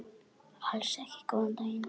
Alls ekki góðan daginn.